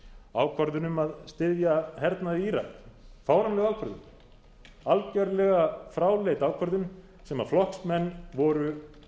ákvörðun um að styðja hernað í írak fáránleg ákvörðun algjörlega fráleit ákvörðun sem flokksmenn voru